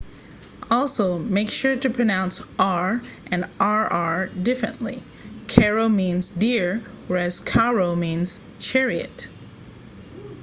also make sure to pronounce r and rr differently caro means dear whereas carro means chariot